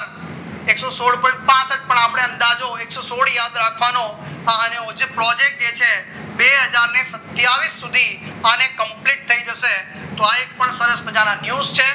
એકસો સોધ point પાસઠ આપણે અંદાજા જોઈશું એકસો સોડ યાદ રાખવાનો જે project જે છે બે હજાર સતિયાવીસસુધી આને complete થઈ જશે તો અહીં એક સરસ મજાના news છે